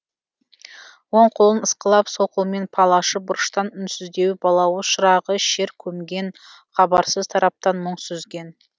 оң қолын ысқылап сол қолмен пал ашып бұрыштан үнсіздеу балауыз шырағы шер көмген хабарсыз тараптан мұң сүзген